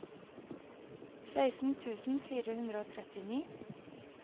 seksten tusen fire hundre og trettini